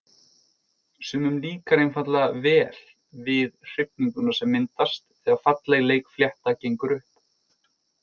Sumum líkar einfaldlega vel við hrifninguna sem myndast þegar falleg leikflétta gengur upp.